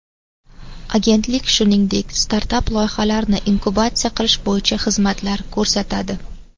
Agentlik shuningdek, startap-loyihalarni inkubatsiya qilish bo‘yicha xizmatlar ko‘rsatadi.